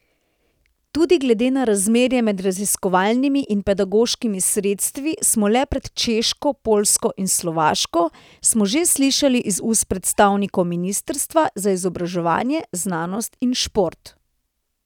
Tudi glede na razmerje med raziskovalnimi in pedagoškimi sredstvi smo le pred Češko, Poljsko in Slovaško, smo že slišali iz ust predstavnikov ministrstva za izobraževanje, znanost in šport.